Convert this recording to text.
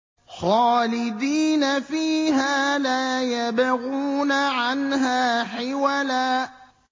خَالِدِينَ فِيهَا لَا يَبْغُونَ عَنْهَا حِوَلًا